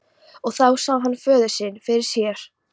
Og þá sá hann föður sinn fyrir sér.